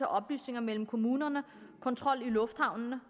af oplysninger mellem kommunerne og kontrol i lufthavnene